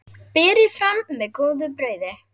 Berið fram með góðu brauði.